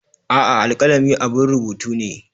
A'a, alkalami abun rubutu ne.